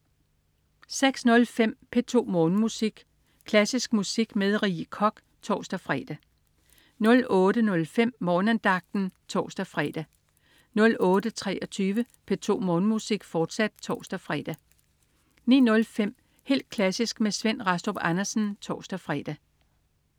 06.05 P2 Morgenmusik. Klassisk musik med Rie Koch (tors-fre) 08.05 Morgenandagten (tors-fre) 08.23 P2 Morgenmusik, fortsat (tors-fre) 09.05 Helt klassisk med Svend Rastrup Andersen (tors-fre)